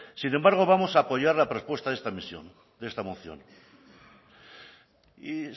sin embargo vamos a apoyar la propuesta de esta moción y